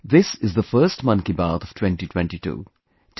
This is the first 'Mann Ki Baat' of 2022